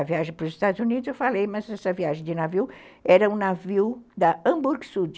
A viagem para os Estados Unidos eu falei, mas essa viagem de navio era um navio da Hamburg-Sud.